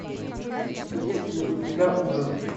есть ли у тебя ужин